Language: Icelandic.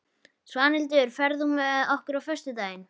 Svanhildur, ferð þú með okkur á föstudaginn?